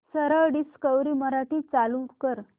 सरळ डिस्कवरी मराठी चालू कर